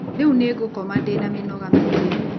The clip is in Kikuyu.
Rĩu nĩ ngũkoma ndĩna mĩnoga mĩingĩ.